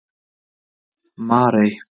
Marey